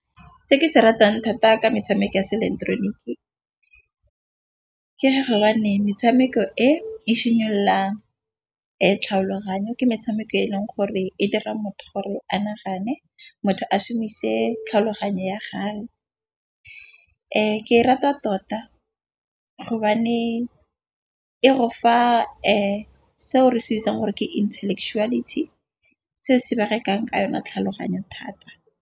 Se ke se ratang thata ka metshameko ya seileketeroniki ke ga metshameko e simololang tlhaloganyo ke metshameko e leng gore e dira motho gore a nagane motho a shomise tlhaloganyo ya gage. Ke rata tota e re fa seo re se gore ke intellectuality seo se ba rekang ka yone tlhaloganyo thata.